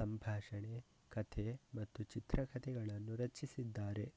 ಸಂಭಾಷಣೆ ಕಥೆ ಮತ್ತು ಚಿತ್ರಕಥೆಗಳನ್ನು ರಚಿಸಿದ್ದಾರೆ